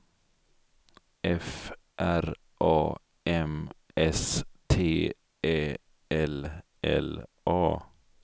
F R A M S T Ä L L A